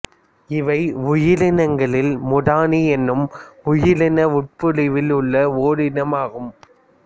இவை உயிரினங்களில் முதனி என்னும் உயிரின உட்பிரிவில் உள்ள ஓரினமாகும்